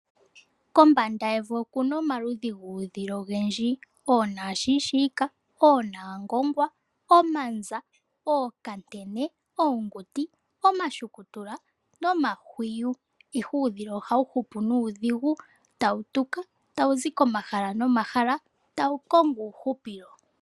Kombanda yevi oku na omaludhi guudhila ogendji. Oonamushiishika, oonaangongwa, omanza, ookantene, oonguti, omashukutula nomahwiyu. Ihe uudhila ohawu hupu nuudhigu, tawu tuka tawu zi komahala nomahala tawu kongo uuhupilo.